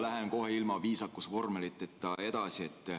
Lähen kohe ilma viisakusvormeliteta edasi.